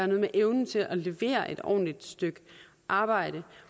noget med evnen til at levere et ordentligt stykke arbejde